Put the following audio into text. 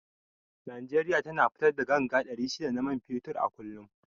Nigeria tana fitar da ganga ɗari shida ta man fetur a kullum